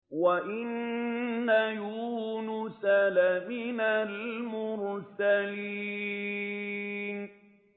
وَإِنَّ يُونُسَ لَمِنَ الْمُرْسَلِينَ